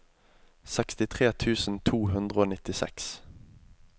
sekstitre tusen to hundre og nittiseks